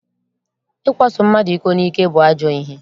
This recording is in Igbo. Ịkwaso mmadụ iko n'ike bụ ajọ ihe